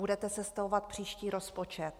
Budete sestavovat příští rozpočet.